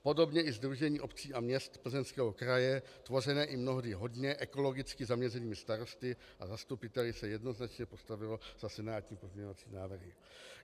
Podobně i Sdružení obcí a měst Plzeňského kraje tvořené i mnohdy hodně ekologicky zaměřenými starosty a zastupiteli se jednoznačně postavilo za senátní pozměňovací návrhy.